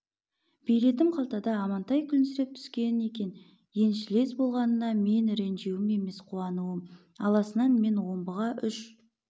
билетім қалтамда амантай күлімсіреп түскен екен еншілес болғаныңа бұл ренжуім емес қуануым аласынан мен омбыға үш